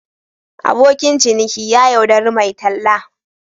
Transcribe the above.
Abokin ciniki ya yaudari mai talla.